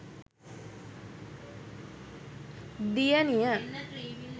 diyaniya